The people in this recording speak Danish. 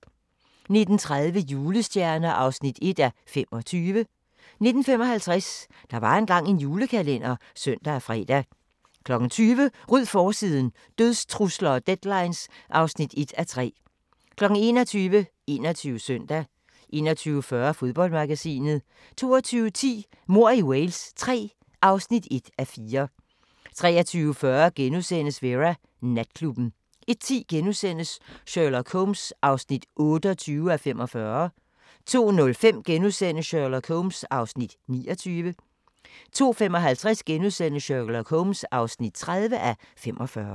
19:30: Julestjerner (1:25) 19:55: Der var engang en julekalender (søn og fre) 20:00: Ryd forsiden – dødstrusler og deadlines (1:3) 21:00: 21 Søndag 21:40: Fodboldmagasinet 22:10: Mord i Wales III (1:4) 23:40: Vera: Natklubben * 01:10: Sherlock Holmes (28:45)* 02:05: Sherlock Holmes (29:45)* 02:55: Sherlock Holmes (30:45)*